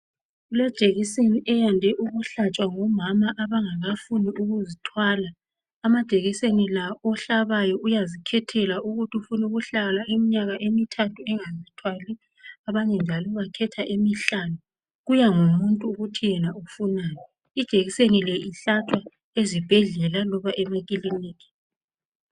Kulejekiseni eyande ukuhlatshwa ngomama abangakafuni ukuzithwala amajekiseni la ohlabayo uyazikhethela ukuthi ufuna ukuhlala iminyaka emithathu engazithwali abanye njalo bakhetha emihlanu kuyangomuntu ukuthi yena ufunani ijekiseni le ihlatshwa ezibhedlela loba emakilinika.